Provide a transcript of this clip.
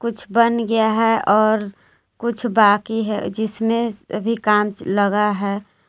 कुछ बन गया है और कुछ बाकी है जिसमें अभी काम लगा है।